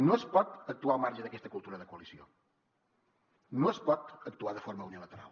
no es pot actuar al marge d’aquesta cultura de coalició no es pot actuar de forma unilateral